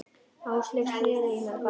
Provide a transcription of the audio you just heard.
Áslaug sneri í mig baki.